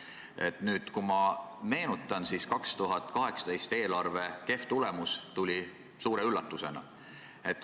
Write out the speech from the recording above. Kui ma nüüd tagasi mõtlen, siis 2018. aasta eelarve kehv tulemus tuli suure üllatusena.